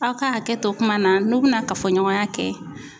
Aw ka hakɛto kuma na n'u bi na kafoɲɔgɔnya kɛ